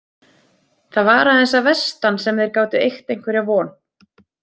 Það var aðeins að vestan sem þeir gátu eygt einhverja von.